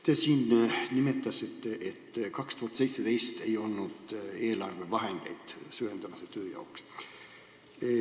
Te siin nimetasite, et 2017. aastal ei olnud eelarvevahendeid süvendamistöö jaoks.